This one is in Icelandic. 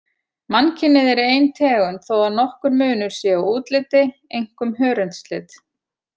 Mannkynið er ein tegund þó að nokkur munur sé á útliti, einkum hörundslit.